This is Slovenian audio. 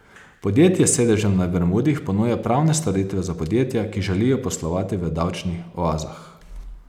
Podjetje s sedežem na Bermudih ponuja pravne storitve za podjetja, ki želijo poslovati v davčnih oazah.